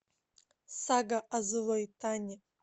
сага о злой тане